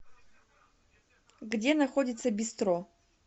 где находится бистро